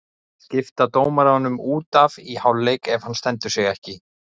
Skipta dómaranum út af í hálfleik ef hann stendur sig ekki?